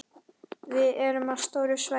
Við erum á stóru svæði.